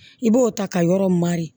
I b'o ta ka yɔrɔ mari